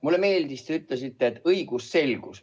Mulle meeldis, et te nimetasite õigusselgust.